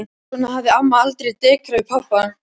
Svona hafði amma aldrei dekrað við pabba.